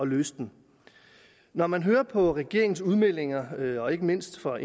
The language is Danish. løse den når man hører på regeringens udmeldinger og ikke mindst fra